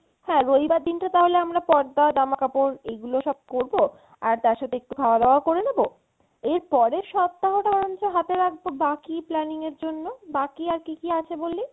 হ্যাঁ রবিবার দিনটা তাহলে আমরা পর্দা জামাকাপড় এইগুলো সব করবো আর তার সাথে একটু খাওয়া দাওয়া করে নেবো এর পরের সপ্তাহ টা বরঞ্চ হাতে রাখবো বাকি planning এর জন্য বাকি আর কী কী আছে বললি?